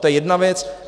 To je jedna věc.